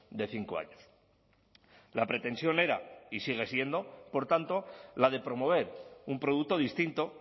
de cinco años la pretensión era y sigue siendo por tanto la de promover un producto distinto